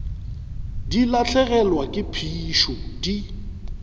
di lahlegelwa ke phišo di